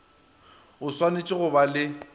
o swanetše go ba le